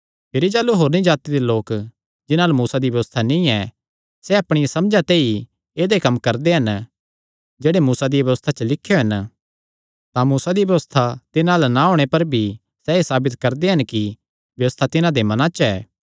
भिरी जाह़लू होरनी जाति दे लोक जिन्हां अल्ल मूसा दी व्यबस्था नीं ऐ सैह़ अपणिया समझा ते ई ऐदेय कम्म करदे हन जेह्ड़े मूसा दिया व्यबस्था च लिख्यो हन तां मूसा दी व्यबस्था तिन्हां अल्ल ना होणे पर भी सैह़ एह़ साबित करदे हन कि व्यबस्था तिन्हां दे मनां च ऐ